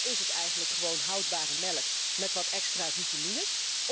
Of is het eigenlijk gewoon houdbare melk met wat extra vitamines?